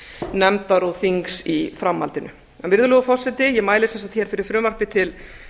nefndar og þings í framhaldinu virðulegur forseti ég mæli sem sagt hér fyrir frumvarpi til